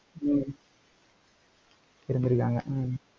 ஹம் இருந்திருக்காங்க. ஹம்